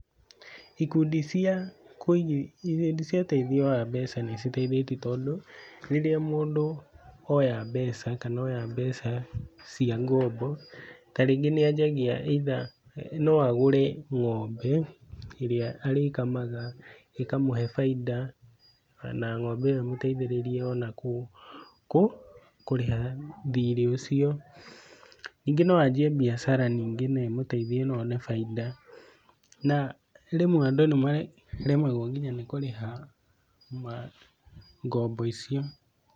Ikundi cia ũteithio wa mbeca nĩciteithĩtie tondũ rĩrĩa mũndũ oya mbeca, kana oya mbeca cia ngombo, ta rĩngĩ nĩ anjagia either no agũre ng'ombe, ĩrĩa arĩkamaga, ĩkamũhe baida, ona ng'ombe ĩyo ĩmũteithĩrĩrie ona kũrĩha thirĩ ũcio, ningĩ no anjie biacara ningĩ na ĩmũteithie na one baida, na rĩmwe andũ nĩ maremagwo nginya nĩ kũrĩha ma ngombo icio.